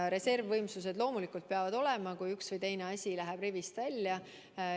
Reservvõimsused loomulikult peavad olema, juhuks kui üks või teine asi rivist välja läheb.